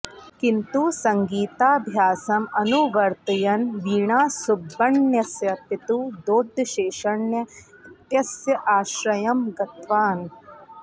किन्तु सङ्गीताभ्यासम् अनुवर्तयन् वीणासुब्बण्णस्य पितुः दोड्डशेषण्य इत्यस्य आश्रयं गतवान्